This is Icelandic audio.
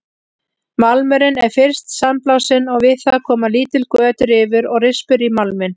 Málmurinn er fyrst sandblásinn og við það koma lítil göt, rifur og rispur í málminn.